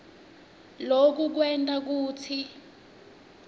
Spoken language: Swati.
loku kwenta kutsi